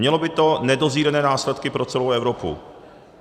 Mělo by to nedozírné následky pro celou Evropu.